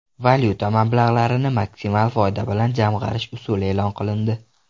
Valyuta mablag‘larini maksimal foyda bilan jamg‘arish usuli e’lon qilindi.